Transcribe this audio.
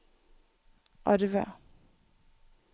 Arve